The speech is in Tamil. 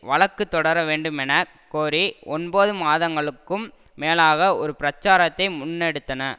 வழக்கு தொடர வேண்டும் என கோரி ஒன்பது மாதங்களுக்கும் மேலாக ஒரு பிரச்சாரத்தை முன்னெடுத்தன